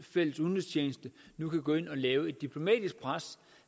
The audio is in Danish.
fælles udenrigstjeneste nu kan gå ind og lægge et diplomatisk pres